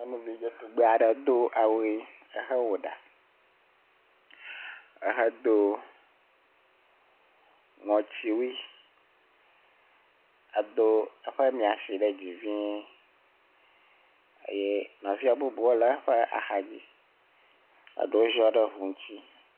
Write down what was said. Nyɔnuvi dzetugbe aɖe do awu ʋi ehe wɔ ɖa ehe do ŋɔtsiwui edo eƒe miami si ɖe dzi vie eye nɔvia bubu wo le eƒe ax dzi. Eɖewo ziɔ ɖe ŋu ŋuti.